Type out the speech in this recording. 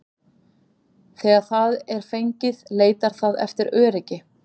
Þegar það er fengið leitar það eftir öryggi.